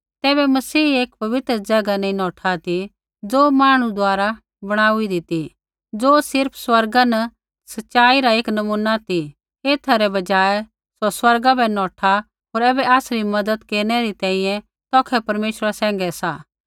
तैबै मसीह एक पवित्र ज़ैगा नैंई नौठा ती ज़ो मांहणु द्वारा बणाउईदी ती ज़ो सिर्फ़ स्वर्गा न सच़ाई री एक नमूना ती एथा रै बजाय सौ स्वर्गा बै नौठा होर ऐबै आसरी मज़त केरनै री तैंईंयैं तौखै परमेश्वरा सैंघै सा